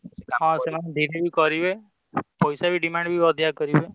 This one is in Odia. ହଁ ସେମାନେ ଦେଲେ ବି କରିବେ ପଇସା ବି ଅଧିକ demand ବି କରିବେ